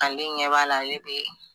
Ale ɲɛ b'a la ale be.